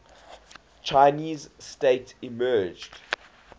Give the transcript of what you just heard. chinese state emerged